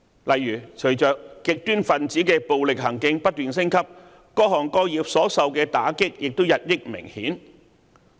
例如，隨着極端分子的暴力行徑不斷升級，各行各業所受到的打擊也日益明顯。